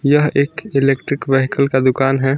यह एक electric vehicle का दुकान है।